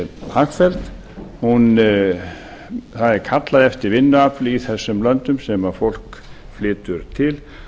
hagfelld það er kallað eftir vinnuafli í þessum löndum sem fólk flytur til